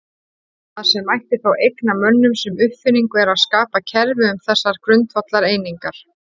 Það sem mætti þá eigna mönnum sem uppfinningu er að skapa kerfi um þessar grundvallareiningar.